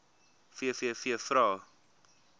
vvvvrae